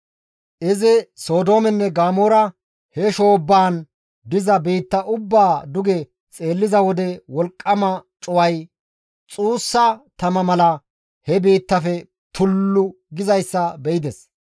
Izi Sodoomenne Gamoora he shoobbaan diza biitta ubbaa duge xeelliza wode wolqqama cuway xuussa tama mala he biittaafe tullu gizayssa be7ides.